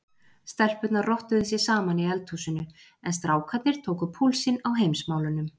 Stelpurnar rottuðu sig saman í eldhúsinu en strákarnir tóku púlsinn á Heimsmálunum.